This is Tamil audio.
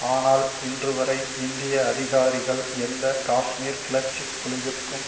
ஆனால் இன்று வரை இந்திய அதிகாரிகள் எந்த காஷ்மீர் கிளர்ச்சி குழுவிற்கும்